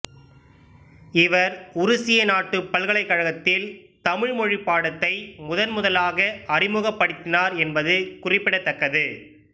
இவர் உருசிய நாட்டுப் பல்கலைக்கழகத்தில் தமிழ் மொழிப் பாடத்தை முதன்முதலாக அறிமுகப்படுத்தினார் என்பது குறிப்பிடத்தக்கது